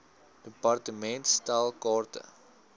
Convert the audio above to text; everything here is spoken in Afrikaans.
department stel kaarte